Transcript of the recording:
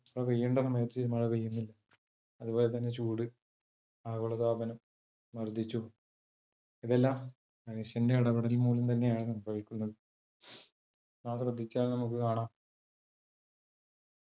മഴ പെയ്യണ്ട സമയത്ത് മഴ പെയ്യുന്നില്ല. അത്പോലെ തന്നെ ചൂട് ആഗോളതാപനം വർധിച്ചു ഇതെല്ലം മനുഷ്യന്റെ ഇടപെടൽ മൂലം തന്നെയാണ് സംഭവിക്കുന്നത്. നാം ശ്രദ്ധിച്ചാൽ നമുക്ക് കാണാം